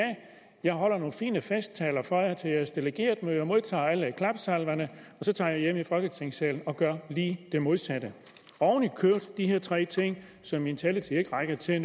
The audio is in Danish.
jeg holder nogle fine festtaler for jer til jeres delegeretmøde og modtager alle klapsalverne og så tager jeg hjem i folketingssalen og gør lige det modsatte ovenikøbet er her tre ting som min taletid ikke rækker til at